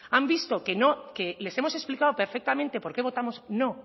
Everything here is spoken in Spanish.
han visto que no que les hemos explicado perfectamente por qué votamos no